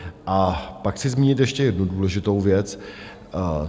A pak chci zmínit ještě jednu důležitou věc.